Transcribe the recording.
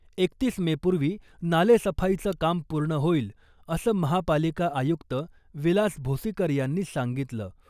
एकतीस मे पूर्वी नाले सफाईचं काम पूर्ण होईल , असं महापालिका आयुक्त विलास भोसीकर यांनी सांगितलं .